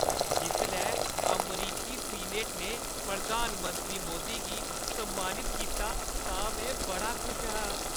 जिसलै अमरीकी सीनेट ने प्रधानमंत्री मोदी गी सम्मानत कीता तां में बड़ा खुश हा।